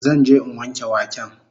Zan je in wanke waken